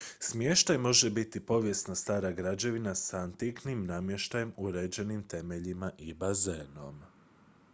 smještaj može biti povijesna stara građevina s antiknim namještajem uređenim temeljima i bazenom